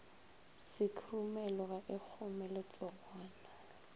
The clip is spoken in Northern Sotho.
sekhurumelo ga e kgome letsogwana